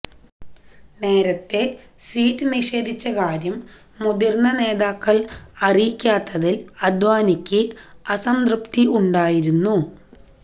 നേരത്തെ സീറ്റ് നിഷേധിച്ച കാര്യം മുതിർന്ന നേതാക്കൾ അറിയിക്കാത്തതിൽ അദ്വാനിക്ക് അതൃപ്തി ഉണ്ടായിരുന്നു